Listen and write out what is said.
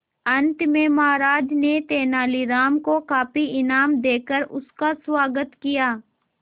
अंत में महाराज ने तेनालीराम को काफी इनाम देकर उसका स्वागत किया